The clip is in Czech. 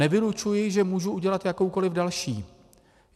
Nevylučuji, že můžu udělat jakoukoliv další.